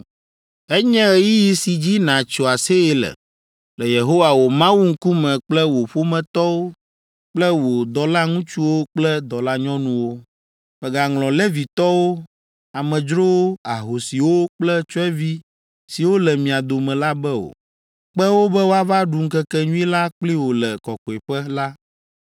Enye ɣeyiɣi si dzi nàtso aseye le, le Yehowa wò Mawu ŋkume kple wò ƒometɔwo kple wò dɔlaŋutsuwo kple dɔlanyɔnuwo. Mègaŋlɔ Levitɔwo, amedzrowo, ahosiwo kple tsyɔ̃evi siwo le mia dome la be o. Kpe wo be woava ɖu ŋkekenyui la kpli wò le kɔkɔeƒe la.